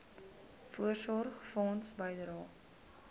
voorsorgfonds bydrae